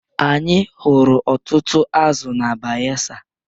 Anyị hụrụ ọtụtụ azụ na Bayelsa